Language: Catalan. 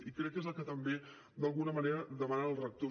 i crec que és el que també d’alguna manera demanen els rectors